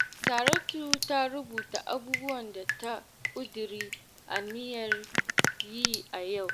Saratu ta rubuta abubuwan da ta ƙudiri aniyar yi a yau